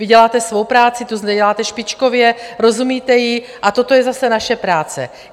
Vy děláte svou práci, tu děláte špičkově, rozumíte jí a toto je zase naše práce.